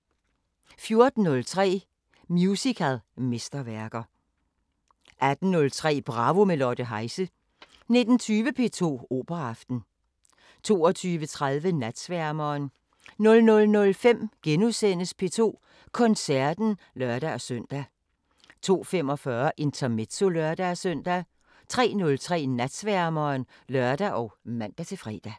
14:03: Musicalmesterværker 18:03: Bravo – med Lotte Heise 19:20: P2 Operaaften 22:30: Natsværmeren 00:05: P2 Koncerten *(lør-søn) 02:45: Intermezzo (lør-søn) 03:03: Natsværmeren (lør og man-fre)